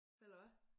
Eller hvad?